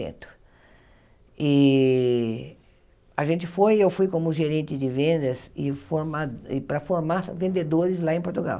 E a gente foi, e eu fui como gerente de vendas e formar e para formar vendedores lá em Portugal.